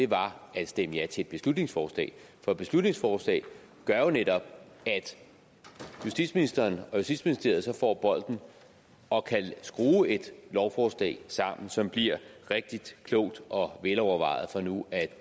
var at stemme ja til et beslutningsforslag for et beslutningsforslaget gør jo netop at justitsministeren og justitsministeriet så får bolden og kan skrue et lovforslag sammen som bliver rigtigt klogt og velovervejet for nu at